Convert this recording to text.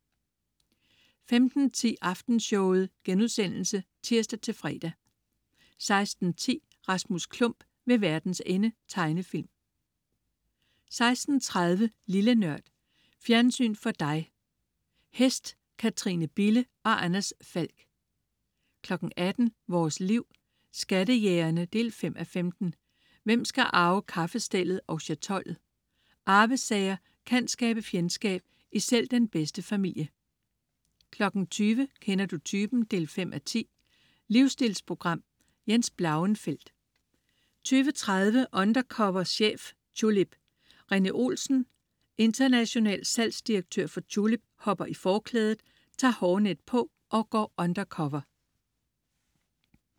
15.10 Aftenshowet* (tirs-fre) 16.10 Rasmus Klump ved verdens ende. Tegnefilm 16.30 Lille Nørd. Fjernsyn for dig. Hest. Katrine Bille og Anders Falck 18.00 Vores Liv. Skattejægerne 5:15. Hvem skal arve kaffestellet og chatollet? Arvesager kan skabe fjendskab i selv den bedste familie 20.00 Kender du typen? 5:10. Livsstilsprogram. Jens Blauenfeldt 20.30 Undercover chef. Tulip. Rene Olsen, international salgsdirektør for Tulip, hopper i forklædet, tager hårnet på og går undercover